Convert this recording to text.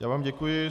Já vám děkuji.